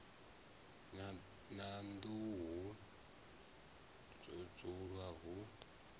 na nḓuhu ho dzulwa hu